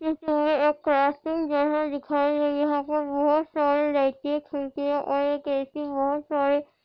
एक क्राफ्टिंग जैसा दिखाईं दे रहा यहां बहुत सारे लाइटिंग खिड़किया और एक बहुत सारे--